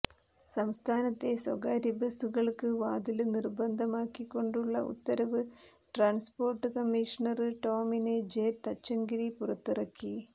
സംസ്ഥാനത്തെ സ്വകാര്യ ബസുകള്ക്ക് വാതില് നിര്ബന്ധമാക്കികൊണ്ടുള്ള ഉത്തരവ് transport commissioner Tomin J Thachankary പുറത്തിറക്കി